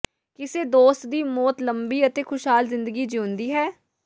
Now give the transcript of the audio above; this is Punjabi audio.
ਕਿਸੇ ਦੋਸਤ ਦੀ ਮੌਤ ਲੰਬੀ ਅਤੇ ਖੁਸ਼ਹਾਲ ਜ਼ਿੰਦਗੀ ਜੀਉਂਦੀ ਹੈ